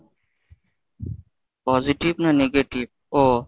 positive না negative ও।